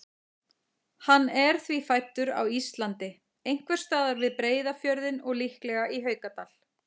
Hann er því fæddur á Íslandi, einhvers staðar við Breiðafjörðinn og líklega í Haukadal.